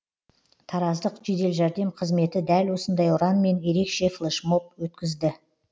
тараздық жедел жәрдем қызметі дәл осындай ұранмен ерекше флэшмоб өткізді